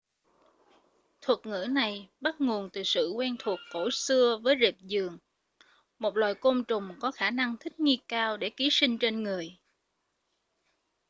thuật ngữ này bắt nguồn từ sự quen thuộc cổ xưa với rệp giường một loài côn trùng có khả năng thích nghi cao để ký sinh trên người